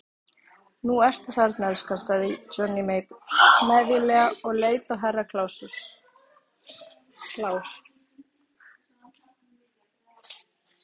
Nú ertu þarna elskan, sagði Johnny Mate smeðjulega og leit á Herra Kláus.